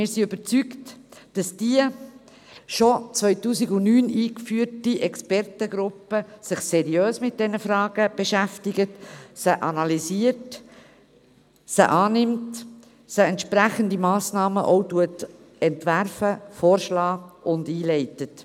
Wir sind überzeugt, dass die bereits 2009 eingesetzte Expertengruppe sich seriös mit diesen Fragen beschäftigt, sie analysiert und entsprechende Massnahmen auch entwirft, vorschlägt und einleitet.